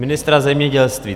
Ministra zemědělství.